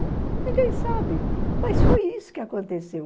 Ninguém sabe, mas foi isso que aconteceu.